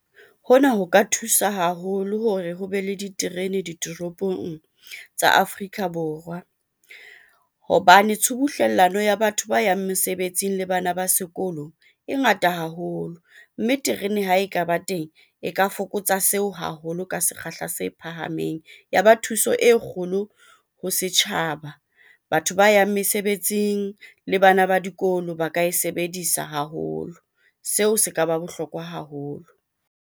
Hona ho ka thusa haholo hore ho be le diterene ditoropong tsa Afrika Borwa, hobane tshubuhlellano ya batho ba yang mesebetsing le bana ba sekolo e ngata haholo, mme terene ha e ka ba teng e ka fokotsa seo haholo ka sekgahla se phahameng. Ya ba thuso e kgolo ho setjhaba, batho ba yang mesebetsing le bana ba dikolo ba ka e sebedisa haholo seo se ka ba bohlokwa haholo.